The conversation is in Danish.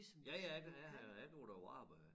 Ja ja jeg har jeg går på arbejde